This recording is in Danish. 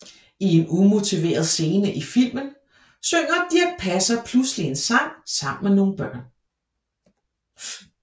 I en umotiveret scene i filmen synger Dirch Passer pludselig en sang sammen med nogle børn